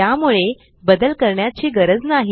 त्यामुळे बदल करण्याची गरज नाही